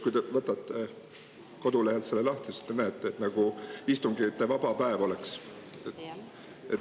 Kui te võtate kodulehelt selle lahti, siis te näete, et nagu oleks istungivaba päev.